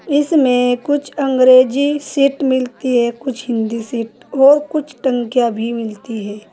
इसमें कुछ अंग्रेजी सीट मिलती है कुछ हिंदी सीट और कुछ टंकियां भी मिलती है।